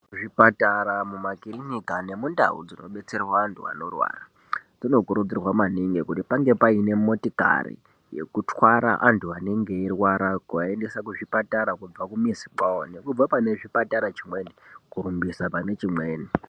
Zvipatara, mumakirinika nemundau dzinobetserwa antu anorwara, zvinokurudzirwa maningi kuti pange paine motikari yekutwara antu anenge eirwara kuaendesa kuzvipatara kubva kumizi kwawo, nekubva pane chipatara chimweni kurumbisa pane chimweni.